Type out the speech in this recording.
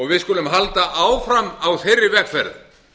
við skulum halda áfram á þeirri vegferð